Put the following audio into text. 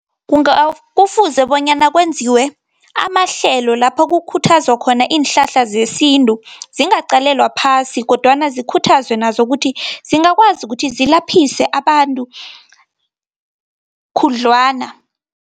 Kufuze bonyana kwenziwe amahlelo lapho kukhuthaza khona iinhlahla zesintu, zingaqalelwa phasi, kodwana zikhuthazwe nazo ukuthi zingakwazi ukuthi zilaphise abantu khudlwana.